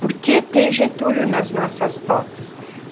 Por que tem Getúlio nas nossas fotos?